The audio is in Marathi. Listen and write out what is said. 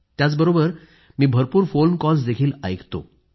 त्याचबरोबर मी भरपूर फोन कॉल्सही ऐकतो